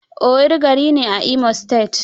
Owerri gari ne a Imo state.